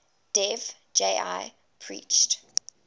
dev ji preached